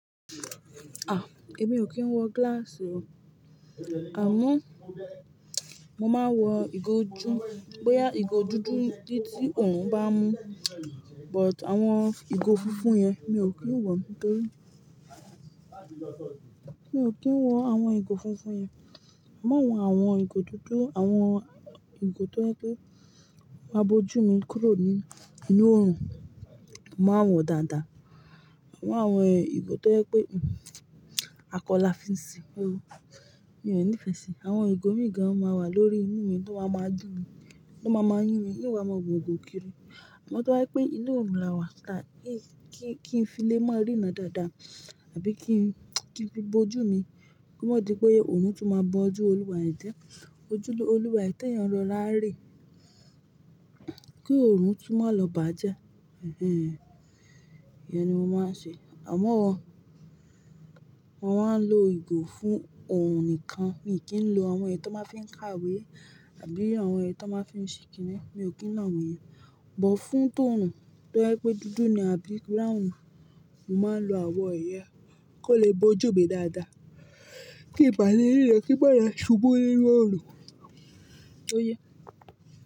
Ah! Èmi ò kí ń wọ glass o. À mo, mo máa wọ ìgò ju, bóyá ìgò dúdú ni tí òòrùn bá mu, but àwọn ìgò funfun yen mi ò kí ń wọ̀, nítorí mi ò kí ń wọ àwọn ìgò funfun yen. Mo máa ń wọ àwọn ìgò dúdú, àwọn ìgò tó yẹ pé máa bojú mi kúrò nínú òòrùn, màá wọ̀ dáadáa. Àwọn ìgò tó yẹ pé akọ la fi ń ṣe, mi ò nífẹ̀ẹ́ síi. Àwọn ìgò mi gan mìíràn a máa wà lórí inú mi tí wọ́n ma ma dúró, tí wọ́n ma ma yún mi, kí n máa wọ ìgò kiri. Àmọ tó ba je pé inú òòrùn la wà, kí n fi lé máa ríran dáadáa àbí kí n fi bo ojú mi, kí ó má di pé òòrùn tún máa bọ́ ojú olúwa è jẹ́. Ojú olúwa e ti eyan rọra re, kí òòrùn tún máa lọ bàjẹ́. Ẹ̀hẹ̀n, ìyẹn ni mo máa ń ṣe. Àmo, mọ́ maa ń lo ìgò fún òòrùn nìkan. Mi ò kí ń lo àwọn èyí tó máa ń fi ń ka ìwé àbí àwọn èyí tó máa ń fi ń ṣe kìnì, mi ò kí ń lọ̀ awọ̀n yen. But fún tòòrùn tó ba jẹ pé dúdú ni àbí brown, mo máa ń lo àwọn yen, kó lè bo ojú mi dáadáa. Kí ìbàlé ríran, kí maa lo ṣubú ninu òòrùn. Ó yẹ.